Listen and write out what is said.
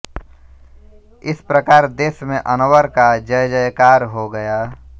इस प्रकार देश में अनवर का जयजयकार हो गया